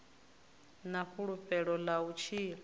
na fulufhelo ḽa u tshila